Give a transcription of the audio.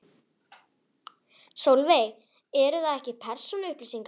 Sólveig: Eru það ekki persónuupplýsingar?